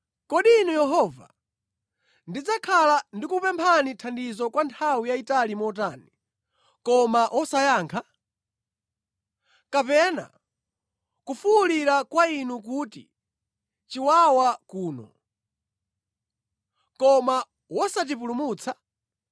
Kodi inu Yehova, ndidzakhala ndikukupemphani thandizo kwa nthawi yayitali motani, koma wosayankha? Kapena kufuwulira kwa inu kuti, “Chiwawa kuno!” koma wosatipulumutsa?